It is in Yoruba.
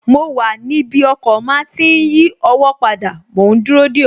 Mo wà níbi ọkọ̀ máa tí n yí ọwọ́ padà mòún dúró dè ọ́